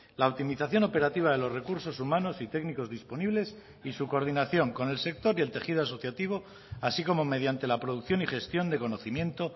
la optimización operativa de los recursos humanos y técnicos disponibles y su coordinación con el sector y el tejido asociativo así como mediante la producción y gestión de conocimiento